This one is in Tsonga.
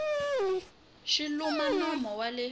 xi luma nomo wa le